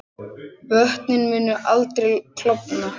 Vötnin munu ekki klofna